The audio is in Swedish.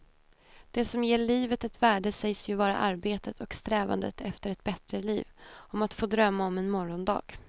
Det som ger livet ett värde sägs ju vara arbetet och strävandet efter ett bättre liv, om att få drömma om en morgondag.